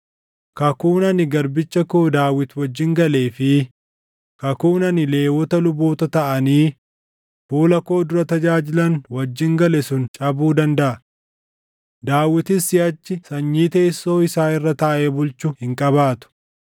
kakuun ani garbicha koo Daawit wajjin galee fi kakuun ani Lewwota luboota taʼanii fuula koo dura tajaajilan wajjin gale sun cabuu dandaʼa; Daawitis siʼachi sanyii teessoo isaa irra taaʼee bulchu hin qabaatu.